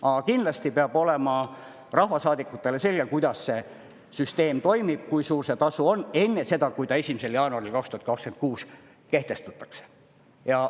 Aga kindlasti peab olema rahvasaadikutele selge, kuidas see süsteem toimib, kui suur see tasu on, enne seda, kui ta 1. jaanuaril 2026 kehtestatakse.